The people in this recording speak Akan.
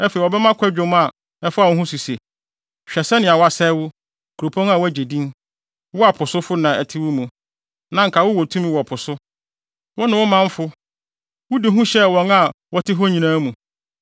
Afei wɔbɛma kwadwom a ɛfa wo ho so se: “‘Hwɛ sɛnea wɔasɛe wo, kuropɔn a woagye din, wo a po sofo na ɛte wo mu, na anka wowɔ tumi wɔ po so! Wo ne wo manfo; wode hu hyɛɛ wɔn a wɔte hɔ nyinaa mu.